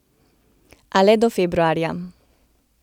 A le do februarja.